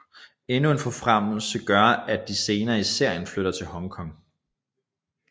Endnu en forfremmelse gør at de senere i serien flytter til Hong Kong